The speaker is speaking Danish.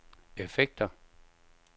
effekter